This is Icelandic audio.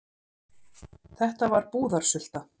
Þetta var búðarsulta.